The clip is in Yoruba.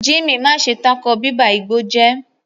Jimmy, má ṣe tako bíba igbó jẹ́!